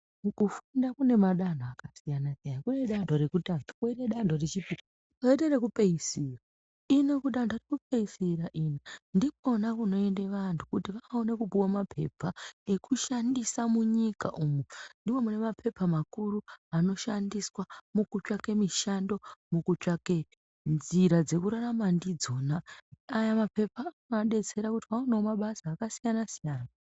Muku funda kune madanho aka siyana siyana kune dando rekutanga koite dando re chipiri koite reku peesira ino kudando reku peesira ino ndikona kuno ende vantu kuti vaone kupuwe mapepa eku shandisa mu nyika umu ndimo mune mapepa makuru anoshandiswa muku tsvaka mishando muku tsvake nzira dzeku rarama ndidzona aya mapepa ano detserawo kuti aonewo mabasa aka siyana siyana.